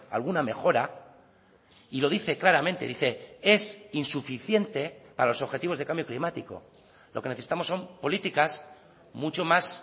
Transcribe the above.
alguna mejora y lo dice claramente dice es insuficiente para los objetivos de cambio climático lo que necesitamos son políticas mucho más